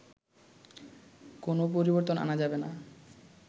কোনো পরিবর্তন আনা যাবে না